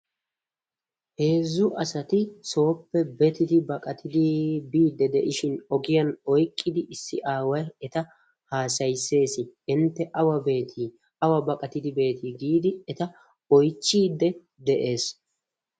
Heezzu asati sooppe betidi baqatidi biiddi de'ishin ogiyan oyiqqidi issi aaway eta haasayisses. "I ntte awa beetii? awa baqatidi beetii?" giidi eta oyichchiidde de'ees.